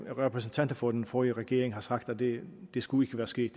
repræsentanter for den forrige regering har sagt at det ikke skulle være sket